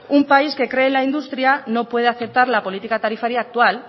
un país que cree en la industria no puede aceptar la política tarifaria actual